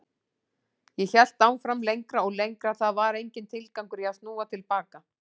Ég hélt áfram lengra og lengra, það var enginn tilgangur í að snúa til baka.